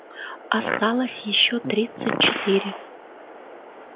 осталось ещё тридцать четыре